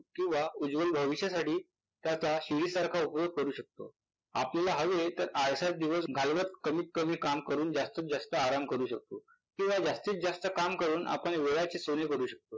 किंवा उज्ज्वल भविष्यासाठी त्याचा शिडीसारखा उपयोग करू शकतो. आपल्याला हवे तर आळसात दिवस घालवण्यात कमीत कमी काम करून जास्तीत जास्त आराम करू शकतो किंवा जास्तीत जास्त काम करून आपण वेळाची चोरी करू शकतो.